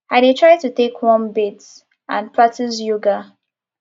i dey try to take a warm bath and practice yoga